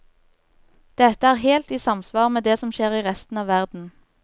Dette er helt i samsvar med det som skjer i resten av verden.